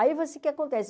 Aí você, o que acontece?